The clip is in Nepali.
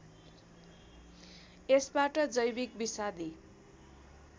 यसबाट जैविक विषादी